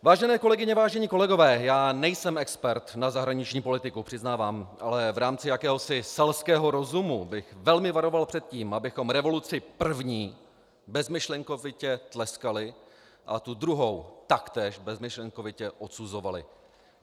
Vážené kolegyně, vážení kolegové, já nejsem expert na zahraniční politiku, přiznávám, ale v rámci jakéhosi selského rozumu bych velmi varoval před tím, abychom revoluci první bezmyšlenkovitě tleskali a tu druhou taktéž bezmyšlenkovitě odsuzovali.